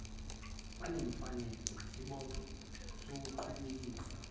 banemfanelo nesibopho sokuqhubekisa